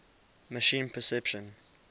machine perception